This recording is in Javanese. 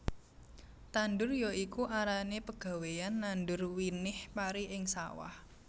Tandur ya iku arane pegawéyan nandur winih pari ing sawah